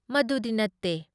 ꯃꯗꯨꯗꯤ ꯅꯠꯇꯦ ꯫